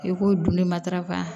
I ko dunni matarafa